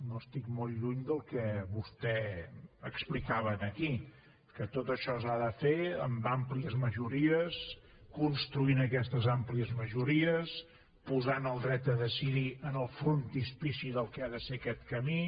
no estic molt lluny del que vostè explicava aquí que tot això s’ha de fer amb àmplies majories construint aquestes àmplies majories posant el dret a decidir en el frontispici del que ha de ser aquest camí